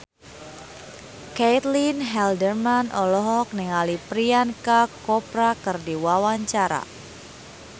Caitlin Halderman olohok ningali Priyanka Chopra keur diwawancara